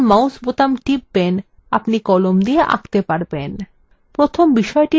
আপনি যখন বাম mouse বোতাম টিপবেন আপনি কলম দিয়ে আঁকতে পারবেন